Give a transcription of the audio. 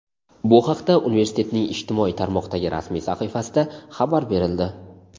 Bu haqda universitetning ijtimoiy tarmoqdagi rasmiy sahifasida xabar berildi.